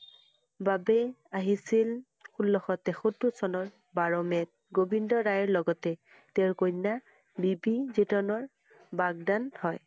বাবে আহিছিল ষোল্লশ তেসত্তৰ চনৰ বাৰ মে'ত গোবিন্দ ৰায়ৰ লগতে তেওঁৰ কন্যা বি পি যিজনৰ বাকদান হয়।